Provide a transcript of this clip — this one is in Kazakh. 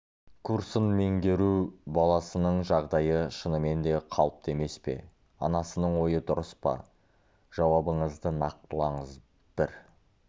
курсын меңгеру баласының жағдайы шынымен де қалыпты емес пе анасының ойы дұрыс па жауабыңызды нақтылаңыз бір